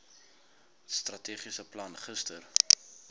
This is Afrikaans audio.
strategiese plan gister